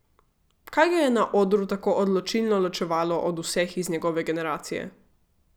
Kaj ga je na odru tako odločilno ločevalo od vseh iz njegove generacije?